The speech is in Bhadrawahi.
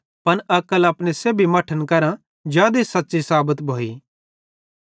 पन अक्ल अपने सेब्भी मट्ठन करां जादे सच़्च़ी साबत भोई